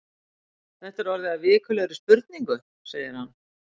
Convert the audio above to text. Þetta er orðið að vikulegri spurningu segir hann.